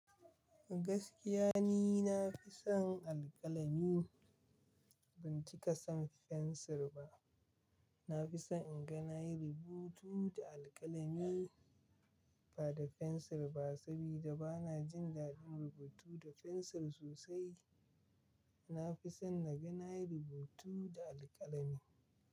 Gaskiya ni nafi son alkalami, ban cika son fensir ba. Nafison inga nayi rubutu da alkalami ba da fensir ba, saboda bana jin daɗin rubutu da fensir sosai. Nafison naga nayi rubutu da alkalami.